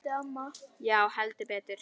Já, heldur betur!